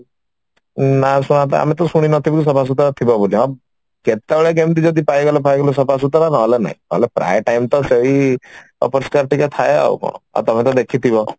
ନାଁ ଶୁଣିତ ଆମେ ତ ଶୁଣି ନଥିବୁ ସଫାସୁତର ଥିବ ବୋଲି ହଁ କେତେବେଳେ କେମିତି ଯଦି ପାଇଗଲ ପାଇଗଲ ସଫାସୁତର ନହେଲେ ନାଇଁ ନହେଲେ ପ୍ରାୟ time ତ ସେଇ ଅପରିଷ୍କାର ଟିକେ ଥାଏ ଆଉ କଣ ଆଉ ତମେ ତ ଦେଖିଥିବ